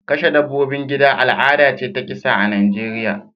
Kashe dabbobin gida al'ada ce ta kisa a Najeriya